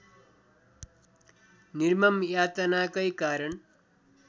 निर्मम यातनाकै कारण